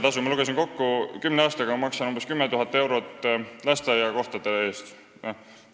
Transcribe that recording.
Ma lugesin kokku, et ma maksan kümne aastaga lasteaiakohtade eest umbes 10 000 eurot.